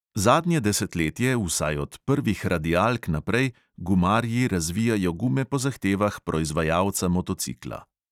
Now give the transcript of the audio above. Zadnje desetletje, vsaj od prvih radialk naprej, gumarji razvijajo gume po zahtevah proizvajalca motocikla.